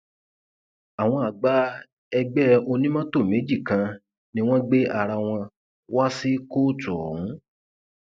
àwọn àgbà ẹgbẹ onímọtò méjì kan ni wọn gbé ara wọn wàá sí kóòtù ọhún